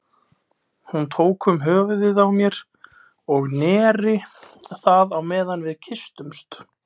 Hún tók um höfuðið á mér og neri það á meðan við kysstumst.